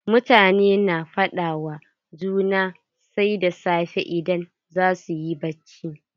Mutane na fada wa juna sai da safe idan zasu yi bacci.